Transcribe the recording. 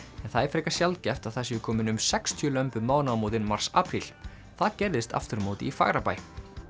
en það er frekar sjaldgæft að það séu komin um sextíu lömb um mánaðamótin mars apríl það gerðist aftur á móti í Fagrabæ